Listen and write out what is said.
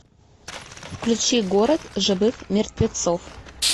включи город живых мертвецов